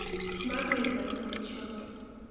сматывайся отсюда к черту